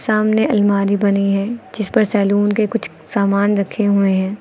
सामने आलमारी बनी है जिस पर सैलून के कुछ सामान रखे हुए हैं।